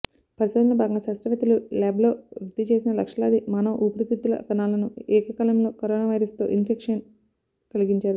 పరిశోధనలో భాగంగా శాస్త్రవేత్తలు ల్యాబ్లో వృద్ధి చేసిన లక్షలాది మానవ ఊపిరితిత్తుల కణాలను ఏకకాలంలో కరోనా వైరస్తో ఇన్ఫెక్షన్ కలిగించారు